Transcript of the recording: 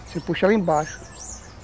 Você puxa lá embaixo.